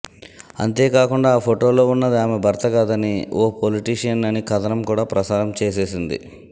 అంతేకాకుండా ఆ ఫొటోల్లో ఉన్నది ఆమె భర్త కాదని ఓ పొలిటీషియన్ అని కథనం కూడా ప్రసారం చేసేసింది